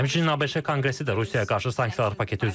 Həmçinin ABŞ Konqresi də Rusiyaya qarşı sanksiyalar paketi üzərində işləyir.